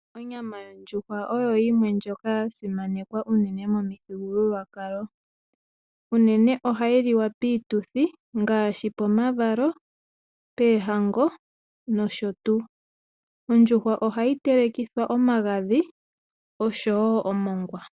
Inyama yondjuhwa oyo yimwe ya simanekwa unene momithigululwakalo. Unene ohayi liwa piituthi ngaashi pomavalo poohango nosho tuu. Ondjuhwa ohayi telekithwa omagadhi nosho woo omongwa.